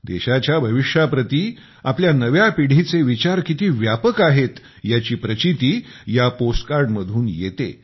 देशाच्या भविष्याप्रती आपल्या नव्या पिढीचे विचार किती व्यापक आहेत याची प्रचीती या पोस्ट कार्ड मधून येते